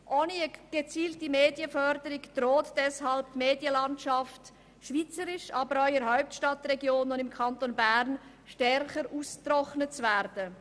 Ohne gezielte Medienförderung droht deshalb die Medienlandschaft schweizweit, aber auch in der Hauptstadtregion und im Kanton Bern stärker auszutrocknen.